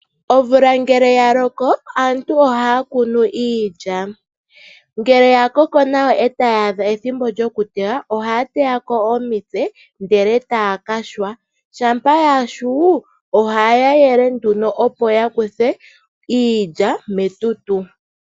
Omvula ngele yaloko aantu ohaa kunu iilya niilya ngele yakoko nawa eta yaadha ethimbo lyoku tewa, aantu oha ya teyako omitse ndele etaa ka yungula iilya, shampa iilya yayungulwa aantu oha ya yele iilya opo yizemo metutu.